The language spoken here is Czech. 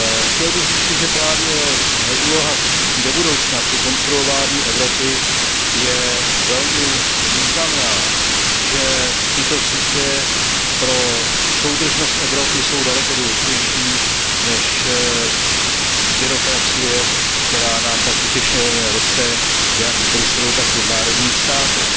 Chtěl bych říci, že právě úloha sítí je do budoucna při konstruování Evropy velmi významná, že tyto sítě jsou pro soudržnost Evropy daleko důležitější než byrokracie, která nám tak utěšeně roste jak v Bruselu, tak i v národních státech.